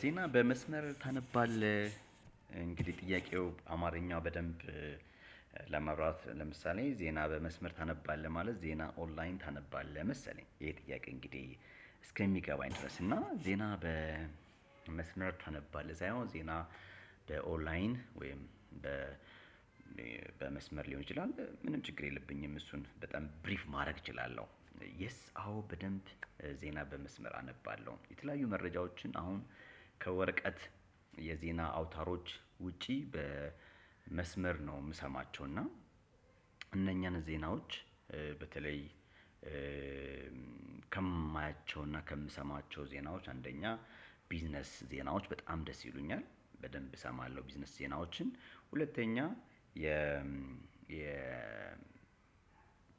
ዜና በመስመር ታነባለህ? እንግዲህ ጥያቄው አማርኛ በደንብ። ለማብራራት ለምሳሌ ዜና በመስመር ታነባለህ ማለት ዜና ኦንላይን ታነባለህ መሰለኝ ይሄ ጥያቄ እንግዲህ እስከሚገባኝ ድረስ እና ዜና በመስመር ታነባለህ ሳይሆን ዜና። በኦንላይን ወይም በመስመር ሊሆን ይችላል። ምንም ችግር የለብኝም እሱን በጣም ብሪፍ ማድረግ እችላለሁ። የስ አዎ በደንብ ዜና በመስመር አነባለሁ። የተለያዩ መረጃዎችን አሁን ከወረቀት የዜና አውታሮች ውጪ በመስመር ነው የምሰማቸው እና። እነኛን ዜናዎች በተለይ ከማያቸው እና ከምሰማቸው ዜናዎች አንደኛ ቢዝነስ ዜናዎች በጣም ደስ ይሉኛል። በደንብ እሰማለሁ ቢዝነስ ዜናዎችን ሁለተኛ የ የ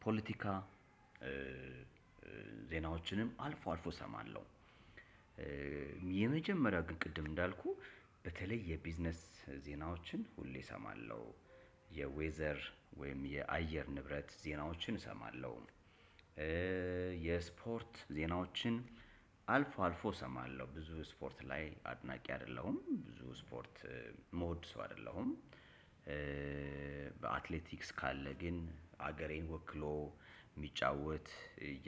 ፖለቲካ ዜናዎችንም አልፎ አልፎ እሰማለሁ። የመጀመሪያ ግን ቅድም እንዳልኩህ በተለይ የቢዝነስ ዜናዎችን ሁሌ እሰማለሁ። የዌዘር ወይም የአየር ንብረት ዜናዎችን እሰማለሁ። የስፖርት ዜናዎችን አልፎ አልፎ እሰማለሁ ብዙ ስፖርት ላይ አድናቂ አይደለሁም ብዙ ስፖርት እምወድ ሰው አይደለሁም። በአትሌቲስ ካለ ግን አገሬን ወክሎ የሚጫወት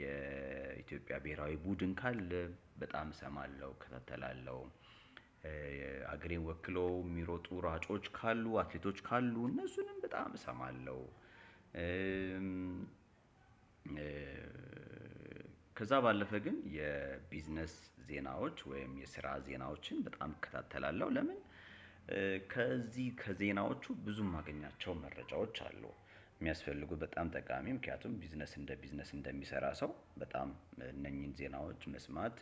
የኢትዮጵያ ብሄራዊ ቡድን ካለ በጣም እሰማለህ እከታተላለሁ። ሀገሬን ወክለው የሚሮጡ ሯጮች ካሉ አትሌቶች ካሉ እነሱንም በጣም እሰማለሁ። ከዛ ባለፈ ግን የቢዝነስ ዜናዎች ወይም የስራ ዜናዎችን በጣም እከታተላለሁ። ለምን ከዚህ ከዜናዎቹ ብዙ የማገኛቸው መረጃዎች አሉ። የሚያስፈልጉ በጣም ጠቃሚ ምክንያቱም ቢዝነስ እንደ ቢዝነስ እንደሚሰራ ሰው በጣም እነኚህን ዜናዎች መስማት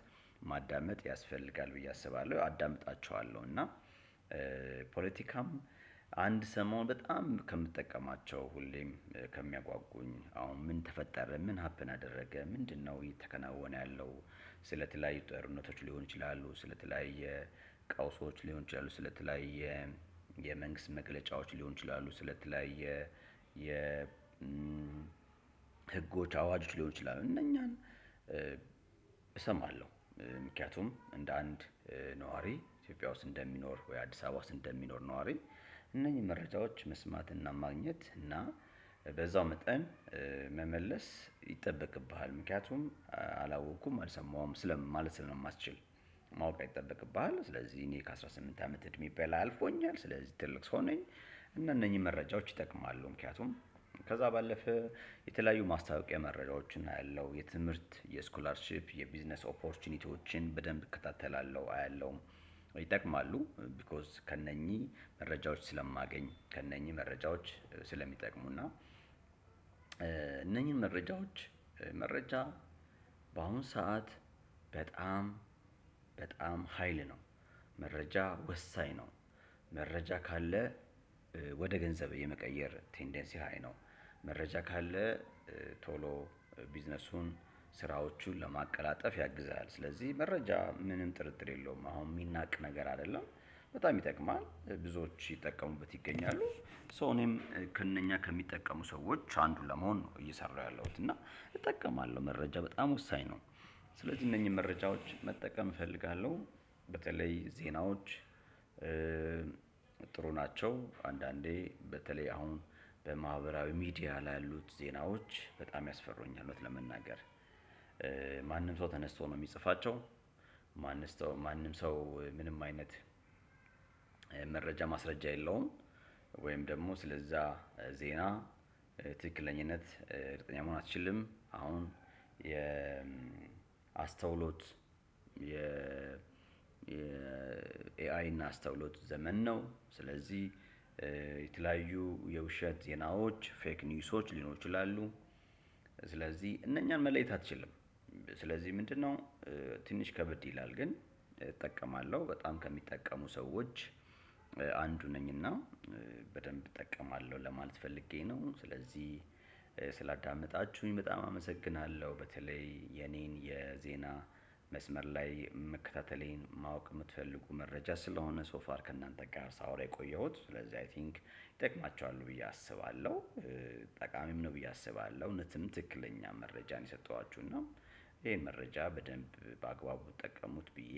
ማዳመጥ ያስፈልጋል ብዬ አስባለሁ አዳምጣችኋለሁ። እና ፖለቲካም አንድ ሰሞን በጣም ከምጠቀማቸው ሁሌም ከሚያጓጉኝ አሁን ምን ተፈጠረ ምን ሀፕን አደረገ ምንድነው እየተከናወነ ያለው? ስለተለያዩ ጦርነቶች ሊሆኑ ይችላሉ ስለተለያያ ቀውሶች ሊሆን ይችላሉ ስለተለያዩ የመንግስት መግለጫዎች ሊሆኑ ይችላሉ ስለተለያየ ህጎች አዋጆች ሊሆኑ ይችላሉ እነኛን እሰማለሁ። ምክንያቱም እንደ አንድ ነዋሪ ኢትዮጵያ ውስጥ እንደሚኖር ወይ አዲስ አበባ ውስጥ እንደሚኖር ነዋሪ እነኚህ መረጃዎች መስማትና ማግኘት እና በዛው መጠን መመለስ ይጠበቅብሃል። ምክንያቱም አላወቅኩም አልሰማሁም ስለ ማለት ስለማትችል ማወቅ ይጠበቅብሃል። ስለዚህ እኔ ከአስራ ስምንት አመት እድሜ በላይ አልፎኛል ስለዚህ ትልቅ ሰው ነኝ። እና እነኚህ መረጃዎች ይጠቅማሉ ምክንያቱም ከዛ ባለፈ የተለያዩ ማስታወቂያ መረጃዎችን አያለሁ የትምህርት የስኩላርሺፕ የቢዝነስ ኦፖርቹኒቲዎችን በደንብ እከታተላለሁ አያለሁ። ይጠቅማሉ ቢኮዝ ከእነኚህ መረጃዎች ስለማገኝ ከእነኚህ መረጃዎች ስለሚጠቅሙና እነኚህን መረጃዎች መረጃ በአሁን ሰዓት በጣም በጣም ሀይል ነው። መረጃ ወሳኝ ነው። መረጃ ካለ ወደ ገንዘብ የመቀየር ቴንደንሲ ሃይ ነው። መረጃ ካለ ቶሎ ቢዝነሱን ስራዎቹን ለማቀላጠፍ ያግዛል ስለዚህ መረጃ ምንም ጥርጥር የለውም። አሁን የሚያናቅ ነገር አይደለም። በጣም ይጠቅማል ብዙዎች እየተጠቀሙበት ይገኛሉ። ሶ እኔም ከእነኛ ከሚጠቀሙ ሰዎች አንዱን ለመሆን ነው እየሰራሁ ያለሁት እና እጠቀማለሁ። መረጃ በጣም ወሳኝ ነው። ስለዚህ እነኚህን መረጃዎች መጠቀም እፈልጋለሁ። በተለይ ዜናዎች ጥሩ ናቸው አንዳንዴ በተለይ አሁን በማህበራዊ ሚዲያ ላይ ያሉት ዜናዎች በጣም ያስፈሩኛል። እውነት ለመናገር ማንም ሰው ተነስቶ ነው የሚጽፋቸው። ማንም ሰው ምንም አይነት መረጃ ማስረጃ የለውም። ወይም ደግሞ ስለዛ ዜና ትክክለኝነት እርግጠኛ አትችልም አሁን የ አስተውሎት የ የ ኤአይ እና አስተውሎት ዘመን ነው። የተለያዩ የውሸት ዜናዎች ፌክ ኒውሶች ሊኖሩ ይችላሉ። ስለዚህ እነኛን መለየት አትችልም ስለዚህ ምንድነው? ትንሽ ከብድ ይላል ግን እጠቀማለሁ በጣም ከሚጠቀሙ ሰዎች አንዱ ነኝና በደንብ እጠቀማለሁ ለማለት ፈልጌ ነው። ስለዚህ ስላዳመጣችሁኝ በጣም አመሰግናለሁ። በተለይ የኔን የዜና መስመር ላይ መከታተሌን ማወቅ የምትፈልጉ መረጃ ስለሆነ ሶ ፋር ከእናንተ ጋር ሳወራ የቆየሁት ስለዚህ አይ ቲንክ ይጠቅማችኋል ብዬ አስባለሁ። ጠቃሚም ነው ብዬ አስባለሁ። እውነትም ትክክለኛ መረጃ ነው የሰጠኋችሁ እና ይሄን መረጃ በደንብ በአግባቡ ተጠቀሙት ብዬ።